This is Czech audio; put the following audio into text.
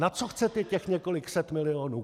Na co chcete těch několik set milionů?